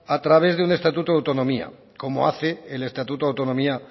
a través de un estatuto de autonomía como hace el estatuto de autonomía